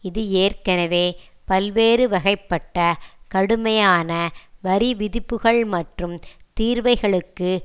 இது ஏற்கெனவே பல்வேறு வகைப்பட்ட கடுமையான வரி விதிப்புக்கள் மற்றும் தீர்வைகளுக்கு